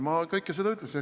Ma kõike seda ütlesin.